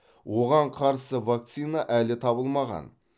оған қарсы вакцина әлі табылмаған